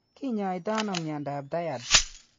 Kinyaaytano myondap Tietz.